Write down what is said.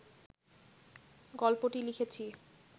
গল্পটি লিখেছি